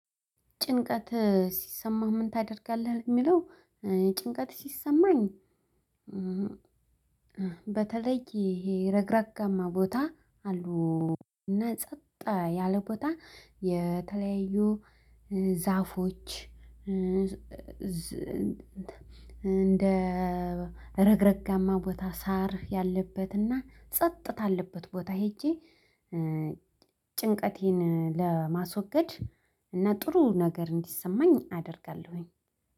ጭንቀት ሲሰማው ምን ታደርጋለህ የሚለው? ጭንቀት ሲሰማኝ። በተለይ ይሄ ረግረጋማ ቦታ አሉ። እና ጸጥ ያለ ቦታ የተለያዩ ዛፎች እንደ ረግረጋማ ቦታ ሳር ያለበትና ጸጥታ አለበት ቦታ ሄጄ። ጭንቀቴን ለማስወገድ እና ጥሩ ነገር እንዲሰማኝ አደርጋለሁኝ።